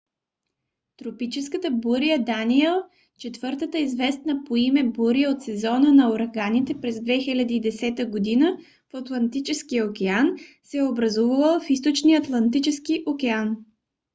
тропическата буря даниел четвъртата известна по име буря от сезона на ураганите през 2010 година в атлантическия океан се е образувала в източния атлантически океан